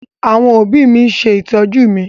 Àwọn òbí mi ń ṣe ìtọ́jú mi.